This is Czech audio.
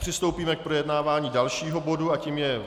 Přistoupíme k projednávání dalšího bodu a tím je